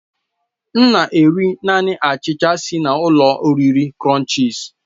M na-eri naanị achicha si na ụlọ oriri krònchis